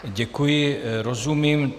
Děkuji, rozumím.